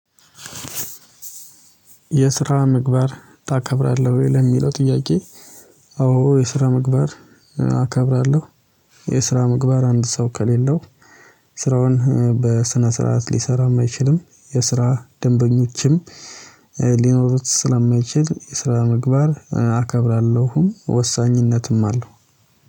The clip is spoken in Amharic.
የስራ ምግባር ታከብራለህ ወይ? ለሚለው ጥያቄ አዎ የስራ ምግባር አከብራለው። የስራ ምግባር አንድ ሰው ከሌለው ስራውን በስነ ስርዓት ሊሰራም አይችልም የስራ ደንበኞችም ሊኖሩት ስለማይችል የስራ ምግባር እከብራለሁም ወሳኝነትም አለው።